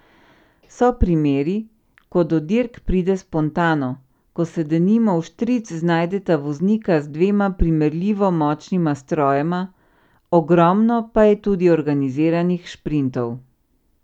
So primeri, ko do dirk pride spontano, ko se denimo vštric znajdeta voznika z dvema primerljivo močnima strojema, ogromno pa je tudi organiziranih šprintov.